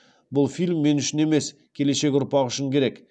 бұл фильм мен үшін емес келешек ұрпақ үшін керек